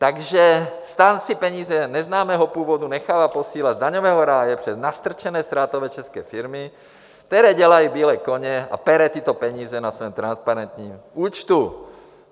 Takže STAN si peníze neznámého původu nechal posílat z daňového ráje přes nastrčené ztrátové české firmy, které dělají bílé koně, a pere tyto peníze na svém transparentním účtu.